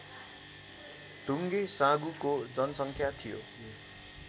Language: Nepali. ढुङ्गेसाँघुको जनसङ्ख्या थियो